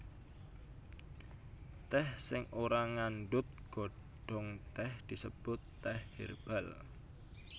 Tèh sing ora ngandhut godhong tèh disebut tèh hèrbal